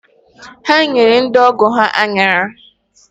Ha nyere ndị ọgọ ha aṅara